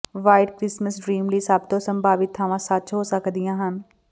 white Christmas dream ਲਈ ਸਭ ਤੋਂ ਸੰਭਾਵਿਤ ਥਾਵਾਂ ਸੱਚ ਹੋ ਸਕਦੀਆਂ ਹਨ